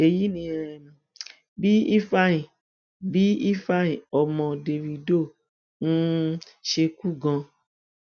èyí ni um bí ifeanyi bí ifeanyi ọmọ dávido um ṣe kú gan